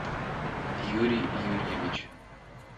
юрий юрьевич